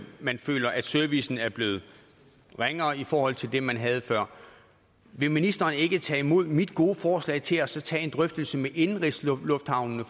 at man føler at servicen er blevet ringere i forhold til det man havde før vil ministeren ikke tage imod mit gode forslag og så tage en drøftelse med indenrigslufthavnene